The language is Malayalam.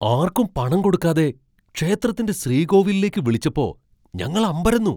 ആർക്കും പണം കൊടുക്കാതെ ക്ഷേത്രത്തിന്റെ ശ്രീകോവിലിലേക്ക് വിളിച്ചപ്പോ ഞങ്ങൾ അമ്പരന്നു.